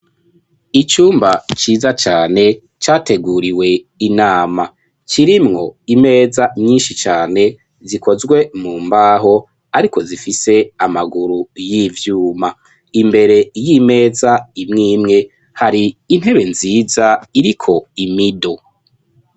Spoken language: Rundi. Icumba ciza cane categuriwe inama kirimwo imeza myinshi cane zikozwe mu mbaho ariko zifise amaguru y'ivyuma imbere y'imeza imwimwe hari intebe nziza iriko imido.